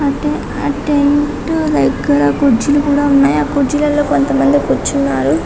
అటెంటి దగ్గర కుర్చీలు ఉన్నాయి కుర్చీల్లోని కొంతమంది కూర్చున్నారు